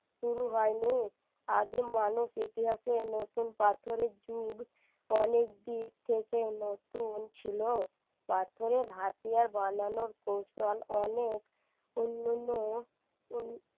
শুরু হয়নি আদিম মানুষ ইতিহাসের নতুন পাথরের যুগ অনেক দিক থেকে নতুন ছিল পাথরের হাতিয়ার বানানোর কৌশল অনেক উন্নয়ন